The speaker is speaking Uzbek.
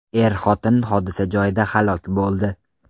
Er-xotin hodisa joyida halok bo‘ldi.